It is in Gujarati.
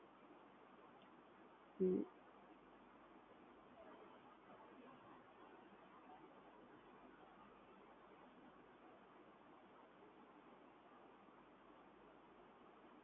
હા એકદમ ખબર પડી ગઈ અને Thank you so much તમે મને આટલું સમજાવ્યું